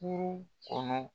Puru kɔnɔ.